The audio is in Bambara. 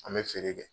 An bɛ feere kɛ